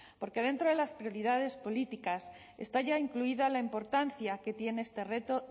porque dentro de las prioridades políticas está ya incluida la importancia que tiene este reto